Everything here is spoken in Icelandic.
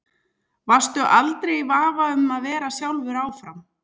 Varstu aldrei í vafa um að vera sjálfur áfram?